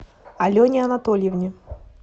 алене анатольевне